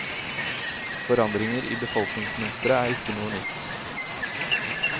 Forandringer i befolkningsmønsteret er ikke noe nytt.